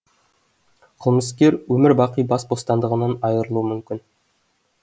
қылмыскер өмір бақи бас бостандығынан айырылуы мүмкін